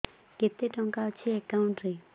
କେତେ ଟଙ୍କା ଅଛି ଏକାଉଣ୍ଟ୍ ରେ